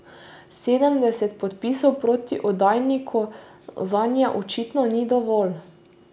Sedemdeset podpisov proti oddajniku zanje očitno ni dovolj.